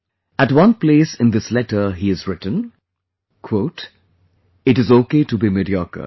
At one place in this letter he has written " It is ok to be mediocre